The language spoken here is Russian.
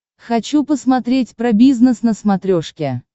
хочу посмотреть про бизнес на смотрешке